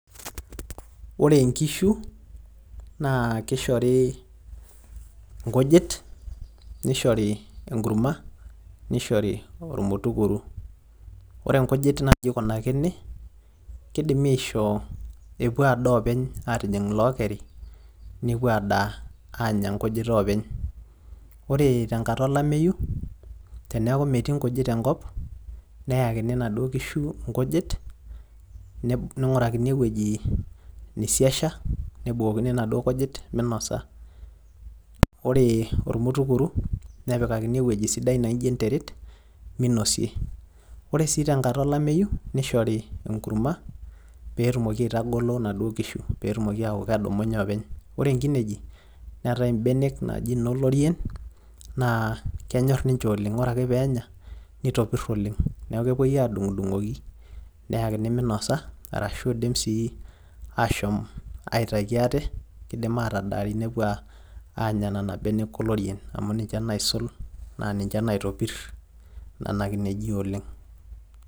ore nkishu naa kishori nkujit, nishori enkurma, nishori ormutukuru, ore nkujit naa iji ikunakini, kidimi aishoo epuo adaa oopeny, aatijing ilookeri, nepuo adaa aanya nkujit oopeny. ore te nkata olameyu, neyakini inaduoo kishu nkujit, neing'urakini ewueji neisiasha, nebukokini inaduoo kujit minosa. ore ormutukuru nepikakini ewueji sidai naijo enteret, minosie. ore sii tenkata olameyu neishori enkurma pee etumoki aitagolo naduoo kishu. ore nkineji neetae ibenek naaji ino lorien, ore ake peenya nepiru oleng. neeku kepuoi aadung'idung'oki. neyakini minosa. naa kidim ashomo atadaari nepuo anya nena benek olorien.